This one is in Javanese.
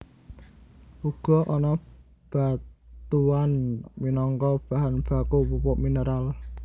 Uga ana batuan minangka bahan baku pupuk mineral